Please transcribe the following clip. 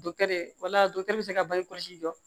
wala dɔkitɛriw bɛ se ka bange kɔlɔsi jɔ